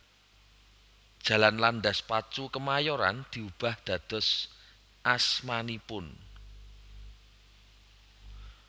Jalan Landas Pacu Kemayoran diubah dados asmanipun